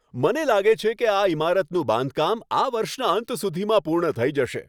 મને લાગે છે કે આ ઈમારતનું બાંધકામ આ વર્ષના અંત સુધીમાં પૂર્ણ થઈ જશે.